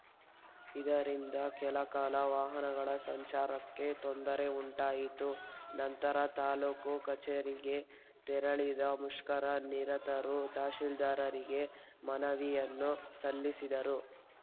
ಇದರಿಂದ ಕೆಲ ಕಾಲ ವಾಹನಗಳ ಸಂಚಾರಕ್ಕೆ ತೊಂದರೆ ಉಂಟಾಯಿತು ನಂತರ ತಾಲೂಕು ಕಚೇರಿಗೆ ತೆರಳಿದ ಮುಷ್ಕರ ನಿರತರು ತಹಸೀಲ್ದಾರರಿಗೆ ಮನವಿಯನ್ನು ಸಲ್ಲಿಸಿದರು